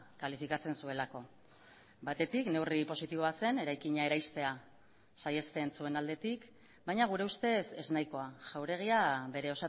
kalifikatzen zuelako batetik neurri positiboa zen eraikina eraistea saihesten zuen aldetik baina gure ustez ez nahikoa jauregia bere